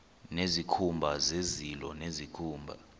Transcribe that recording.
nezikhumba zezilo nezikhumba